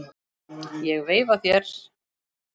Ég veifa þér.